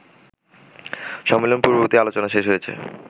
সম্মেলন পূর্ববর্তী আলোচনা শেষ হয়েছে